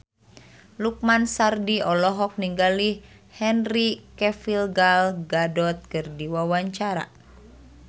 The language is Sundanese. Lukman Sardi olohok ningali Henry Cavill Gal Gadot keur diwawancara